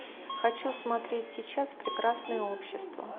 хочу смотреть сейчас прекрасное общество